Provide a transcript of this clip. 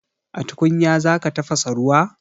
A tukunya za ka tafasa ruwa?